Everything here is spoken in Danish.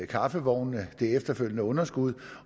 kaffevognene og det efterfølgende underskud